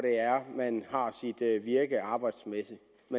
man har sit virke arbejdsmæssigt men